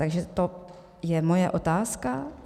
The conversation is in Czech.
Takže to je moje otázka.